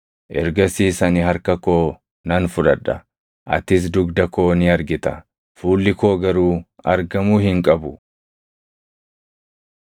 Ergasiis ani harka koo nan fudhadha; atis dugda koo ni argita; fuulli koo garuu argamuu hin qabu.”